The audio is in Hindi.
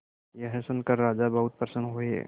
यह सुनकर राजा बहुत प्रसन्न हुए